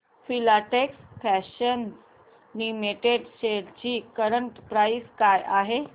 Filatex fashions limited shares ची current price काय आहे